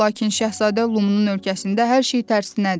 Lakin Şahzadə Lumunun ölkəsində hər şey tərsinədir.